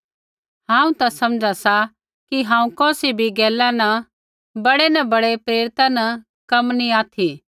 हांऊँ ता समझा सा कि हांऊँ कौसी भी गैला न बड़ै न बड़ै प्रेरिता न कम नैंई ऑथि सा